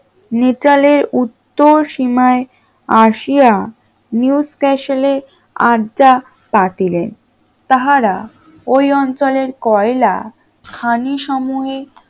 নিটলের উত্তর সীমায় আসিয়া নিউক্যাসল এ আসিয়া আড্ডা পাতিলেন তাহারা ওই অঞ্চলের কয়লা খানি সমূহে